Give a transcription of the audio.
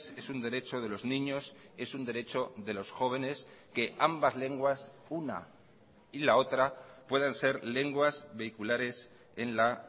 es un derecho de los niños es un derecho de los jóvenes que ambas lenguas una y la otra puedan ser lenguas vehiculares en la